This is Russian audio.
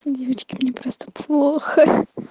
девочки мне просто плохо ха ха